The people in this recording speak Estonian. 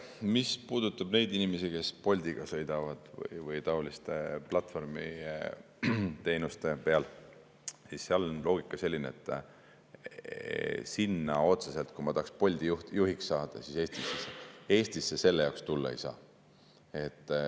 Mis puudutab neid inimesi, kes Bolti sõidavad või on taoliste platvormiteenuste peal, siis seal on selline loogika, et otseselt selle jaoks, tahab Bolti juhiks saada, Eestisse tulla ei saa.